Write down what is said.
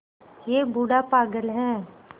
यह बूढ़ा पागल है